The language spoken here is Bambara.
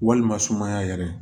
Walima sumaya yɛrɛ